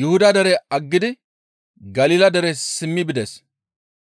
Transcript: Yuhuda dere aggidi Galila dere simmi bides.